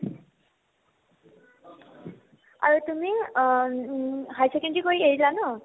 আৰু তুমি অ উম high secondary কৰি এৰিলা ন ?